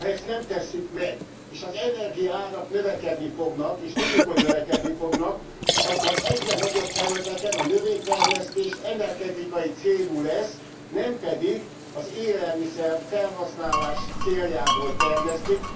Ha ezt nem tesszük meg, és az energiaárak növekedni fognak, és tudjuk, hogy növekedni fognak, akkor egyre nagyobb területeken a növénytermesztés energetikai célú lesz, nem pedig az élelmiszer felhasználás céljából termesztik.